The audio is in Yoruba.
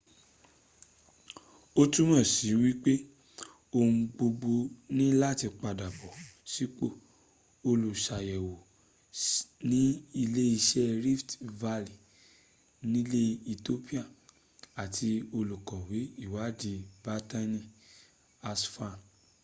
ó túmọ̀sí wípé ohun gbogbo ní láti padàbọ̀ sípò olùsàyẹ̀wò ní iléeṣẹ́ rift valle nilẹ̀ ethiopia àti olùkọ̀we ìwáàdí berhane asfaw